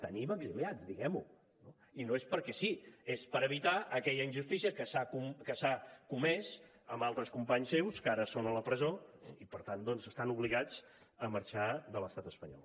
tenim exiliats diguem ho i no és perquè sí és per evitar aquella injustícia que s’ha comès amb altres companys seus que ara són a la presó i per tant doncs estan obligats a marxar de l’estat espanyol